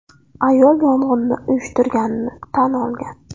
Ayol yong‘inni uyushtirganini tan olgan.